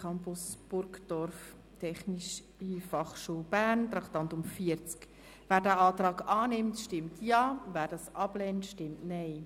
Wer den Kreditantrag annimmt, stimmt Ja, wer diesen ablehnt, stimmt Nein.